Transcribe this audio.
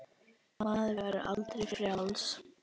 Maður var aldrei frjáls.